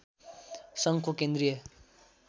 सङ्घको केन्द्रीय